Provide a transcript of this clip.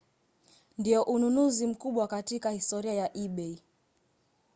ndio ununuzi mkubwa katika historia ya ebay